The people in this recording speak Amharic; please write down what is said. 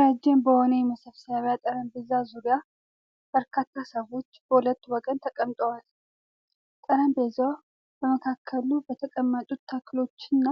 ረጅም በሆነ የመሰብሰቢያ ጠረጴዛ ዙሪያ፣ በርካታ ሰዎች በሁለት ወገን ተቀምጠዋል። ጠረጴዛው በመካከሉ በተቀመጡ ተክሎችና